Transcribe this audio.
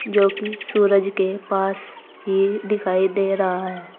जो कि सूरज के पास ये दिखाई दे रहा है।